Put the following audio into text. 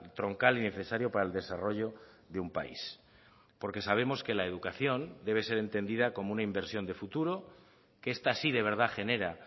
troncal y necesario para el desarrollo de un país porque sabemos que la educación debe ser entendida como una inversión de futuro que esta sí de verdad genera